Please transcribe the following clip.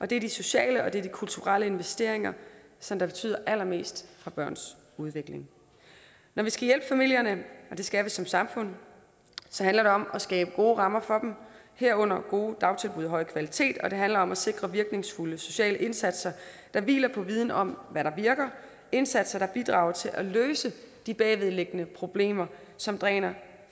det er de sociale og de kulturelle investeringer som betyder allermest for børns udvikling når vi skal hjælpe familierne og det skal vi som samfund så handler det om at skabe gode rammer for dem herunder dagtilbud af høj kvalitet og det handler om at sikre virkningsfulde sociale indsatser der hviler på viden om hvad der virker indsatser der bidrager til at løse de bagvedliggende problemer som dræner